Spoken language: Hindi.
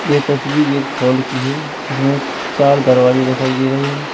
ये तस्वीर एक हॉल की है जिसमें चार दरवाजे दिखाई दे रहे हैं।